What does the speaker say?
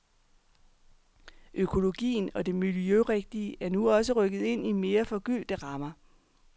Økologien og det miljørigtige er nu også rykket ind i mere forgyldte rammer.